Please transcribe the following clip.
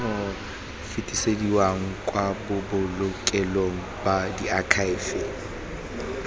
fetisediwa kwa bobolokelong ba diakhaefe